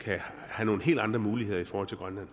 kan have nogle helt andre muligheder i forhold til grønland